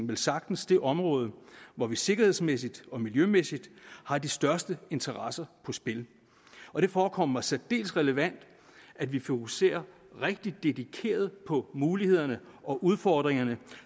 velsagtens det område hvor vi sikkerhedsmæssigt og miljømæssigt har de største interesser på spil og det forekommer mig særdeles relevant at vi fokuserer rigtig dedikeret på mulighederne og udfordringerne